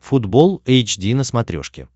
футбол эйч ди на смотрешке